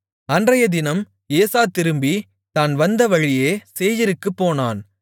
அன்றைத்தினம் ஏசா திரும்பித் தான் வந்த வழியே சேயீருக்குப்போனான்